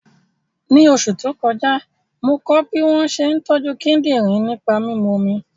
Ní oṣù tó kọjá, mo kọ́ bí wọ́n ṣe ń tọ́jú kíndìnrín nípa mímu omi